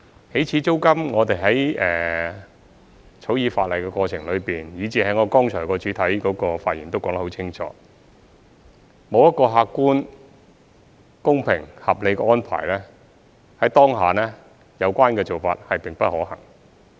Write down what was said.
起始租金，我們在草擬法例的過程中，以至我剛才的主體發言亦說得很清楚，沒有一個客觀、公平、合理的安排，在當下有關做法並不可行。